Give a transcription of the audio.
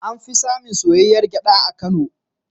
An fi samun soyayyar gyaɗa a Kano.